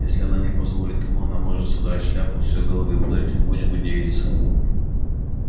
если она не позволит ему она может содрать шляпу с её головы и подарить какой-нибудь девице